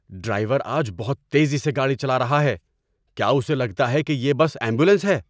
Driver آج بہت تیزی سے گاڑی چلا رہا ہے۔ کیا اسے لگتا ہے کہ یہ بس ایمبولینس ہے؟